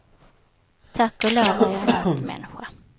Tack och lov är jag en nattmänniska.